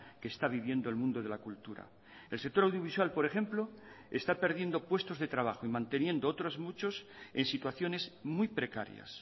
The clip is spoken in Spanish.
que está viviendo el mundo de la cultura el sector audiovisual por ejemplo está perdiendo puestos de trabajo y manteniendo otros muchos en situaciones muy precarias